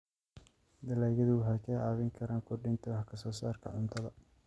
Dalagyadu waxay kaa caawin karaan kordhinta wax soo saarka cuntada.